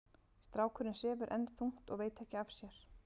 Strákurinn sefur enn þungt og veit ekki af sér.